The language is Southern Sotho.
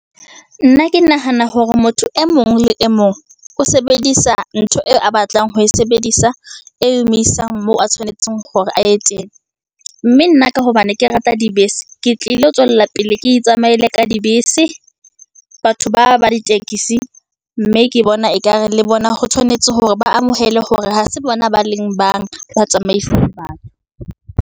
Nna ke nahana hore motho e mong le e mong, o sebedisa ntho eo a batlang ho e sebedisa, e emisang moo a tshwanetseng hore aye teng, mme nna ka hobane ke rata dibese, ke ilo tswella pele, ke itsamaele ka dibese. Batho ba ba ditekesi, mme ke bona ekare le bona ho tshwanetse hore ba amohele hore ha se bona ba leng bang, ba tsamaisang .